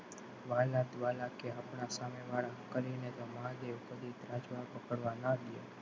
વ્હાલા દવલા કે આપણા સામેવાળા કરીને તો મહાદેવ કદી ત્રાજવા પકડવા ના દેય.